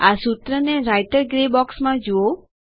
આ સૂત્રને writer grey બોક્સમાં જુઓ